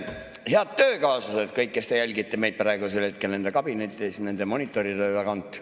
Head töökaaslased, kõik, kes te jälgite meid praegu oma kabinetis monitori tagant!